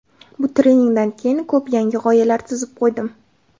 Bu treningdan keyin ko‘p yangi g‘oyalar tuzib qo‘ydim.